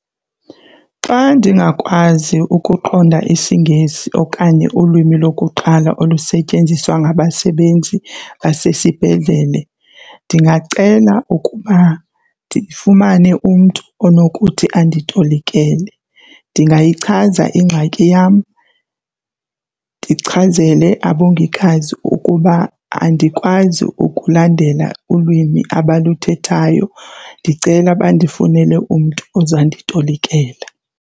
Xa ndingakwazi ukuqonda isiNgesi okanye ulwimi lokuqala olusetyenziswa ngabasebenzi basesibhedlele ndingacela ukuba ndifumane umntu onokuthi anditolikele. Ndingayichaza ingxaki yam ndichazele abongikazi ukuba andikwazi ukulandela ulwimi abaluthethayo, ndicela bandifunele umntu ozanditolikela.